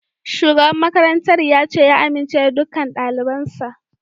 Shugaban makarantar ya ce ya amince da dukkan dalibansa